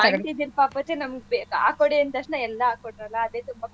ಆ ವಾಂಟಿ ಇದ್ದಿದ್ದು ಪಾಪಚ್ಚಿ ನಮ್ಗೆ ನಾವೂ ಬೇಗ್ ಹಾಕ್ಕೋಡಿ ಅಂತಕ್ಷ್ನ ಎಲ್ಲಾ ಹಾಕ್ಕೊಟ್ರಲ್ಲಾ ಅದೇ ತುಂಬಾ ಖುಷಿ.